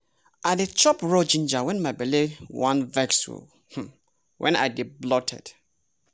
i dey chop raw ginger when my belle wan vex or when i dey bloated.